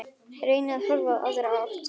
Reyni að horfa í aðra átt.